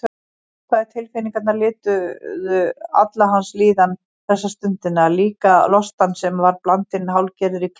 Neikvæðu tilfinningarnar lituðu alla hans líðan þessa stundina, líka lostann sem var blandinn hálfgerðri klígju.